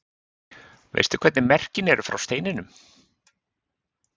Veistu hvernig merkin eru frá steininum?